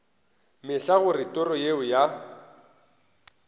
mehla gore toro yeo ya